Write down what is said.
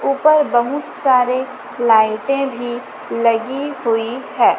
ऊपर बहुत सारे लाइटें भी लगी हुई है।